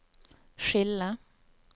skille